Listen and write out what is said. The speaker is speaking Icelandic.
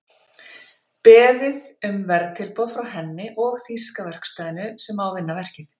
Beðið um verðtilboð frá henni og þýska verkstæðinu sem á að vinna verkið.